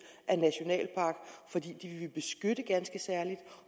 af nationalpark fordi vi vil beskytte det ganske særligt